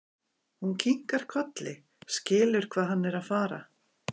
Hún kinkar kolli, skilur hvað hann er að fara.